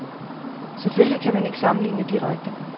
Selvfølgelig kan man ikke sammenligne direkte.